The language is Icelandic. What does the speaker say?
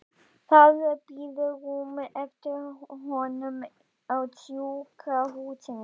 Það bíður rúm eftir honum á sjúkrahúsinu.